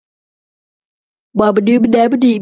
Sé þá steypast hvern um annan einsog fiska í neti.